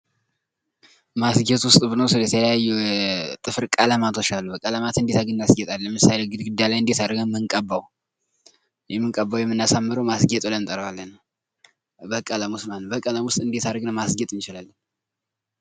ማስጌጥ ዉስጥ ብንወስድ የተለያዩ የጥፍር ቀለማቶች አሉ። ቀለማትን እንደት አድርገን እናስጌጣለን? ለምሳሌ ግድግዳ ላይ እንደ አድርገን ነው የምንቀባው? የምንቀባው ይውምናሳምረው ማስጌጥ ብለን እንጠራዋለን።